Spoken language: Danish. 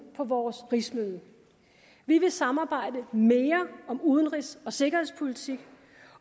på vores rigsmøde vi vil samarbejde mere om udenrigs og sikkerhedspolitik